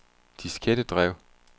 diskettedrev